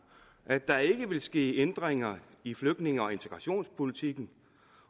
at der ikke ville ske ændringer i flygtninge og integrationspolitikken